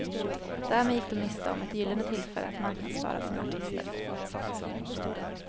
Därmed gick de miste om ett gyllene tillfälle att marknadsföra sina artister.